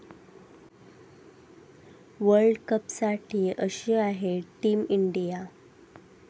वर्ल्डकपसाठी अशी आहे team India